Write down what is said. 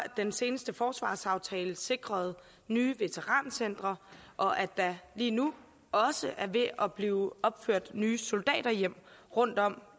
den seneste forsvarsaftale sikrede nye veterancentre og at der lige nu også er ved at blive opført nye soldaterhjem rundtom